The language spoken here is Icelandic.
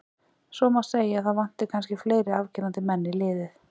Svo má segja að það vanti kannski fleiri afgerandi menn í liðið.